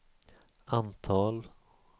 antal